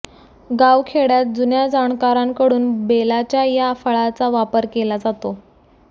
गावखेड्यात जुन्या जाणकारांकडून बेलाच्या या फळाचा वापर केला जातो